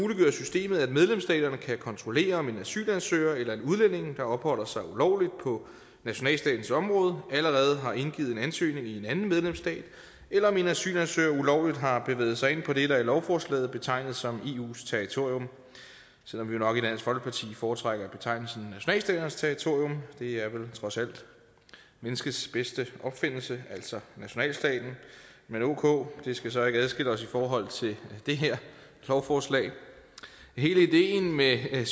systemet at medlemsstaterne kan kontrollere om en asylansøger eller en udlænding der opholder sig ulovligt på nationalstatens område allerede har indgivet en ansøgning i en anden medlemsstat eller om en asylansøger ulovligt har bevæget sig ind på det der i lovforslaget betegnes som eus territorium selv om vi jo nok i dansk folkeparti foretrækker betegnelsen nationalstaternes territorium det er vel trods alt menneskets bedste opfindelse altså nationalstaten men ok det skal så ikke adskille os i forhold til det her lovforslag hele ideen med det